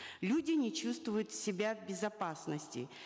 люди не чувствуют себя в безопасности